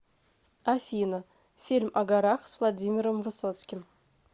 афина фильм о горах с владимиром высоцким